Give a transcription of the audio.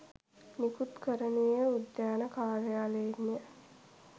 නිකුත් කරනුයේ උද්‍යාන කාර්යාලයෙන්ය